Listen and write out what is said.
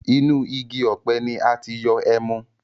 Inú igi ọ̀pẹ ni a ti yọ ẹmu